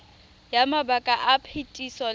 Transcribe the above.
ya mabaka a phetiso le